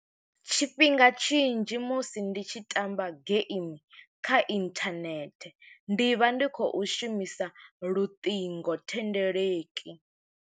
Tshifhinga tshinzhi musi ndi tshi tamba game kha inthanethe, ndi vha ndi khou shumisa luṱingothendeleki.